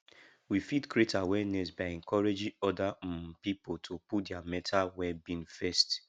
we fit create awareness by encouraging oda um pipo to put their mental wellbeing first